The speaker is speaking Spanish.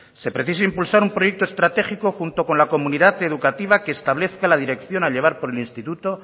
se precisa impulsar un proyecto estratégico junto con la comunidad educativa que establezca la dirección a llevar por el instituto